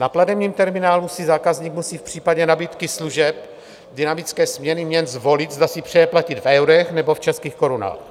Na platebním terminálu si zákazník musí v případě nabídky služeb dynamické směny měn zvolit, zda si přeje platit v eurech, nebo v českých korunách.